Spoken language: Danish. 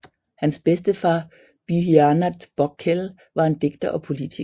Hans bedstefar Bidhyanath Pokhrel var en digter og politiker